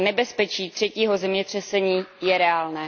Nebezpečí třetího zemětřesení je reálné.